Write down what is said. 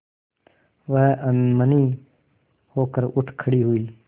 वह अनमनी होकर उठ खड़ी हुई